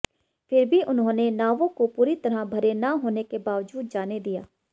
फिर भी उन्होंने नावों को पूरी तरह भरे न होने के बावजूद जाने दिया